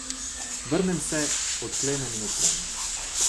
Vrnem se, odklenem in odprem.